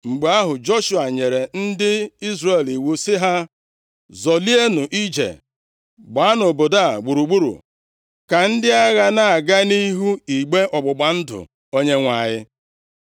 Mgbe ahụ Joshua nyere ndị Izrel iwu sị ha, “Zọlịenụ ije! Gbaanụ obodo a gburugburu, ka ndị agha na-aga nʼihu igbe ọgbụgba ndụ Onyenwe anyị.”